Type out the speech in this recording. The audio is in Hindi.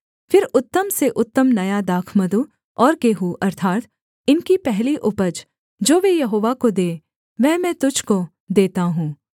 फिर उत्तम से उत्तम नया दाखमधु और गेहूँ अर्थात् इनकी पहली उपज जो वे यहोवा को दें वह मैं तुझको देता हूँ